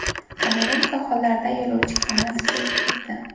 Kamerun sohillarida yo‘lovchi kemasi cho‘kib ketdi.